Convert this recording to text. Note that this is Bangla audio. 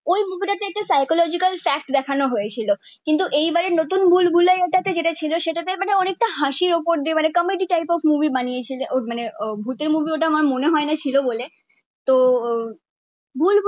একটা সাইকোলোজিক্যাল ফ্যাক্ট দেখানো হয়েছিল কিন্তু এই বারের নতুন ভুলভুলাইয়া টা তে যেটা ছিল মানে অনেকটা হাসির ওপর দিয়ে কমেডি টাইপ অফ মুভি বানিয়েছিলো ওটা মানে ভূতের মুভি ওটা আমার মনে হয়না ছিল বলে তো ভুলভুলাইয়া